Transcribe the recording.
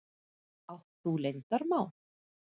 Átt þú leyndarmál?